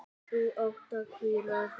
Þú átt að hvíla þig.